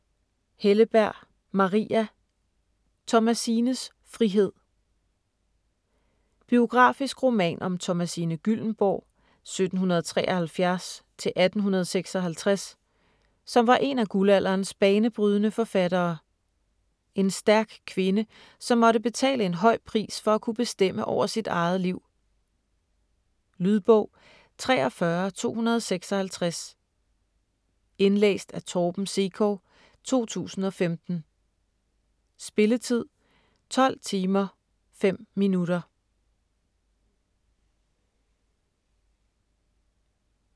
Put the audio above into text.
Helleberg, Maria: Thomasines frihed Biografisk roman om Thomasine Gyllembourg (1773-1856), som var en af guldalderens banebrydende forfattere. En stærk kvinde, som måtte betale en høj pris for at kunne bestemme over sit eget liv. Lydbog 43256 Indlæst af Torben Sekov, 2015. Spilletid: 12 timer, 5 minutter.